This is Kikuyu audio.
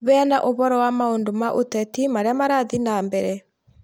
Heana ũhoro wa maũndũ ma ũteti marĩa marathiĩ na mbere